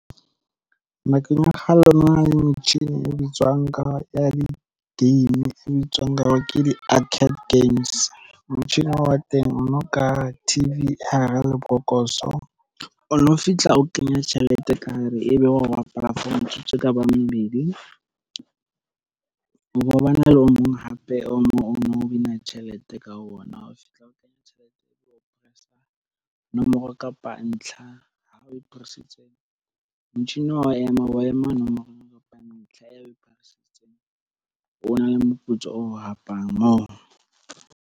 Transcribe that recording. Nakong ya kgale ho no na le metjhini e bitswang ka ya di-game e bitswang ka hore ke di-arcade games. Motjhini wa teng o no ka T_V hara lebokoso o no fihla o kenya tjhelete ka hare ebe wa bapala bo metsotso e ka bang mmedi. Ho na le o mong hape o win-a tjhelete ka ona o fihla o kenya tjhelete o press-a nomoro kapa ntlha ha o pholositse motjhini wa ema wa ema nomoro kapa ntlha ya o na le moputso o hapang moo.